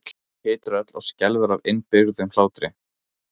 Hún titrar öll og skelfur af innibyrgðum hlátri.